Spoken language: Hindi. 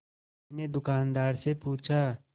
उसने दुकानदार से पूछा